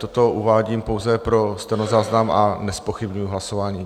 Toto uvádím pouze pro stenozáznam a nezpochybňuji hlasování.